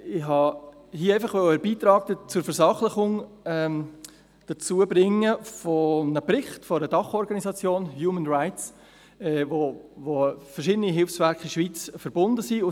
Ich wollte hier einfach einen Beitrag zur Versachlichung bringen, einen Bericht einer Dachorganisation, von «Humanrights», wo verschiedene Hilfswerke in der Schweiz miteinander verbunden sind.